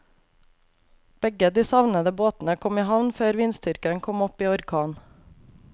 Begge de savnede båtene kom i havn før vindstyrken kom opp i orkan.